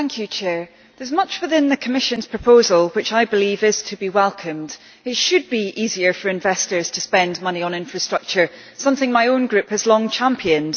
Mr President, there is much within the Commission's proposal which I believe is to be welcomed. It should be easier for investors to spend money on infrastructure, something my own Group has long championed.